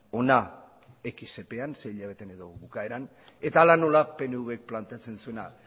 hona hamargarren epean sei hilabetean edo bukaeran eta hala nola pnvk planteatzen zuena